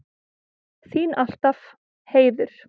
Þín alltaf, Heiður.